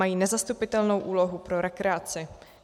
Mají nezastupitelnou úlohu pro rekreaci.